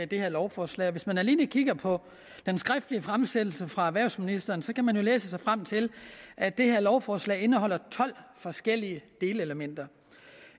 det her lovforslag og hvis man alene kigger på den skriftlige fremsættelse fra erhvervsministeren kan man jo læse sig frem til at det her lovforslag indeholder tolv forskellige delelementer